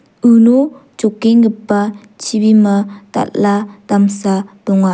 uno jokenggipa chibima dal·a damsa donga.